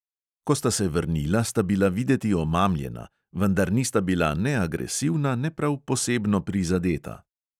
Ko sta se vrnila, sta bila videti omamljena, vendar nista bila ne agresivna ne prav posebno prizadeta.